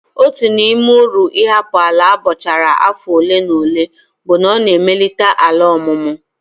Otu n'ime uru ịhapụ ala abọchara afọ ole na ole bụ na ọ na-emelite ala ọmụmụ.